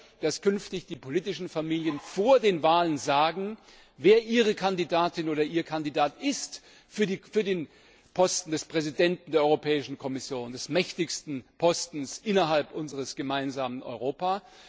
Wir wollen, dass künftig die politischen Familien vor den Wahlen sagen, wer ihre Kandidatin oder ihr Kandidat für den Posten des Präsidenten der Europäischen Kommission ist, des mächtigsten Postens innerhalb unseres gemeinsamen Europas.